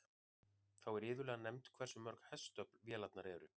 Þá er iðulega nefnt hversu mörg hestöfl vélarnar eru.